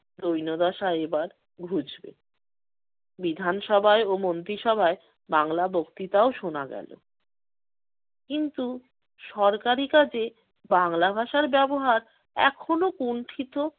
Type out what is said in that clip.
দৈন্যদশায় এইবার ঘুঁচবে। বিধান সভায় ও মন্ত্রীসভায় বাংলা বক্তৃতাও শোনা গেল। কিন্তু সরকারি কাজে বাংলা ভাষার ব্যবহার এখনো কুণ্ঠিত